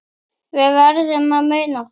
Við verðum að muna það.